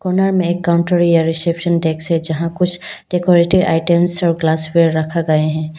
अंदर में एक काउंटर या रिसेप्शन डेस्क है जहां कुछ डेकोरेटिव आइटम्स और क्लासी फेयर रखा गए हैं।